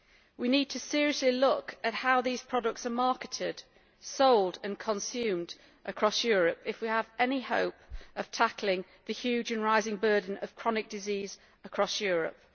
We need to seriously look at how these products are marketed, sold and consumed across Europe if we are to have any hope of tackling the huge and rising burden of chronic disease across Europe.